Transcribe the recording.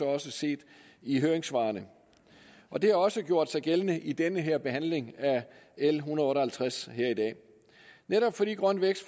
også set i høringssvarene og det har også gjort sig gældende i den her behandling af l en hundrede og halvtreds her i dag netop fordi grøn vækst